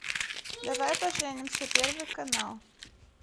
давай поженимся первый канал